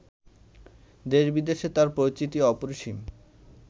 দেশ-বিদেশে তাঁর পরিচিতি অপরিসীম